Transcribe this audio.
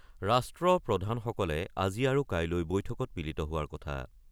ৰাষ্ট্ৰপ্ৰধানসকলে আজি আৰু কাইলৈ বৈঠকত মিলিত হোৱাৰ কথা।